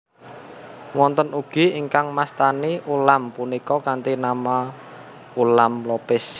Wonten ugi ingkang mastani ulam punika kanthi nama Ulam Lopis